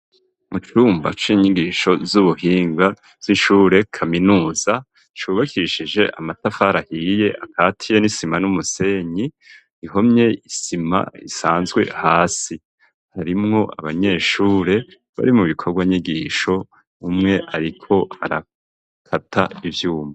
Mu cumba cinyigisho z'ubuhinga z'ishure kaminuza cubakishije amatafari ahiye akatiye n'isima n'umusenyi, ihomye isima isanzwe hasi harimwo abanyeshure bari mu bikorwa nyigisho umwe ariko arakata ivyuma.